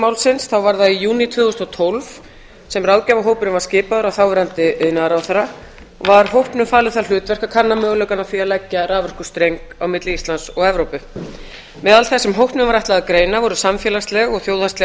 málsins þá var það í júní tvö þúsund og tólf sem ráðgjafarhópurinn var skipaður af þáverandi iðnaðarráðherra og var hópnum falið það hlutverk að leggja raforkustreng á milli íslands og evrópu meðal þess sem hópnum var ætlað að greina voru samfélagsleg og þjóðhagsleg